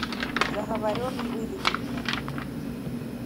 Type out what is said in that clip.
заговоренный выведи мне